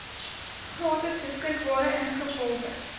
gratis beskikbaar ingevolge